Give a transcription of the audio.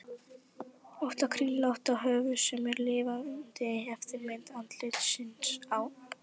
ótta kringlótta höfuð sem er lifandi eftirmynd andlitsins á